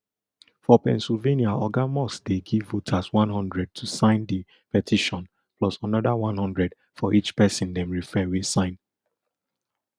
for pennsylvania oga musk dey give voters one hundred to sign di petition plus anoda one hundred for each pesin dem refer wey sign